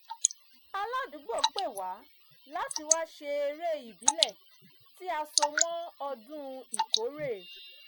aládùúgbò pè wá láti wá ṣe eré ìbílẹ̀ tí a so mọ́ ọdún ìkórè